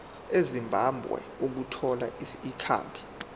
ezimbabwe ukuthola ikhambi